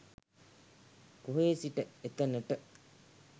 කොහේ සිට එතනට